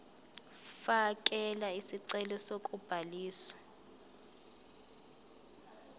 fakela isicelo sokubhaliswa